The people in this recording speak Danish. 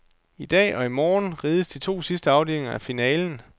I dag og i morgen rides de to sidste afdelinger af finalen.